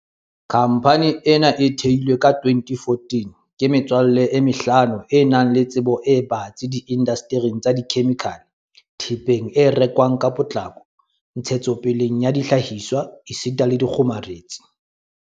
Khamphane ena e theilwe ka 2014 ke metswalle e mehlano e nang le tsebo e batsi di indastering tsa dikhemikhale, thepeng e rekwang ka potlako, ntshetsopeleng ya dihlahiswa esita le dikgomaretsing.